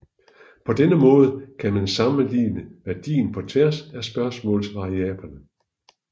På denne måde kan man sammenligne værdier på tværs af spørgsmålsvariable